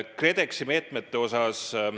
KredExi meetmete kohta.